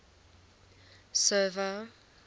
server